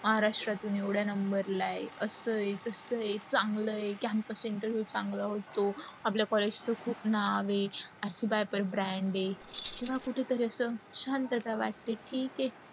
महाराष्ट्रातून एवढ्या number ला आहे, अस आहे, तास आहे, सगळा आहे, campus interview चांगलं होतो. आपल्या college खूप नाव आहे, अशी बाई पण brand हे. तेव्हा कुठे तरी अस शांतता वाटते की ठीके आहे